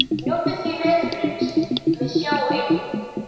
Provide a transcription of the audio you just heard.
Njótum því vetrarins með Skjá einum.